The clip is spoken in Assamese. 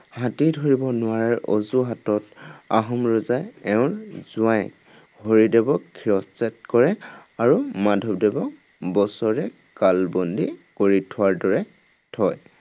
হাতী ধৰিব নোৱাৰাৰ অজুহাতত আহোম ৰজাই এওঁৰ জোঁৱায়েক হৰিদেৱক শিৰশ্ছেদ কৰে আৰু মাধৱদেৱক বছেৰেক কাল বন্দী কৰি থোৱাৰ দৰে থয়।